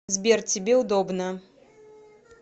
сбер тебе удобно